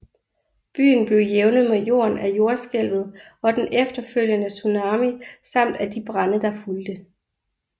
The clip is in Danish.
Byen blev jævnet med jorden af jordskælvet og den efterfølgende tsunami samt af de brande der fulgte